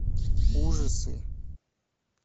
ужасы